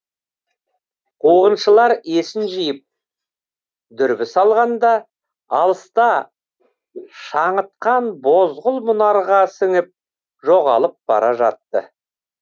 қуғыншылар есін жиып дүрбі салғанда алыста шаңытқан бозғыл мұнарға сіңіп жоғалып бара жатты